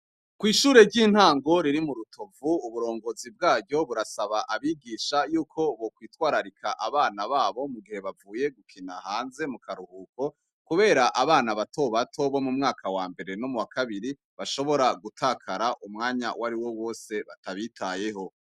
Kwishure ry’intango riri murutovu uburongozi bwaryo burasaba abigisha yuko bokwitwararika abana babo mugihe bavuye gukina hanze mukaruhuko, kubera abana batobato bo mumwaka wambere no muwakabiri bashobora gutakara umwanya wariwo wose batabitayeho.